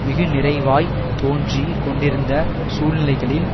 மிகு நிறைவாய் தோன்றி கொண்டிருந்த சூழ்நிலைகளில்